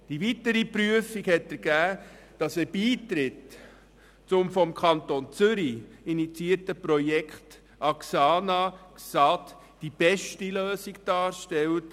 Die weitere Prüfung hat ergeben, dass ein Beitritt zum Projekt axana/XAD, das vom Kanton Zürich initiiert wurde, die beste Lösung darstellt.